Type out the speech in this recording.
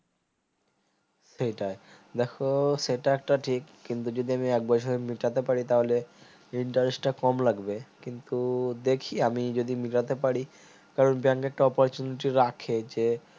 সেটাই দেখো সেটা একটা ঠিক কিন্তু যদি আমি এক বছরের মিটাতে পারি তাহলে interest টা কম লাগবে কিন্তু দেখি আমি যদি মিটাতে পারি কারণ bank এর opportunity রাখে যে